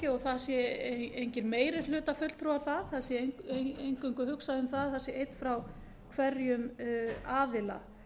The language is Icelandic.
og að það séu engir meirihlutafulltrúar þar það sé eingöngu hugsað um það að það sé einn frá hverjum aðila